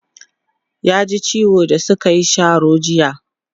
ya ji ciwo da sukayi Sharo jiya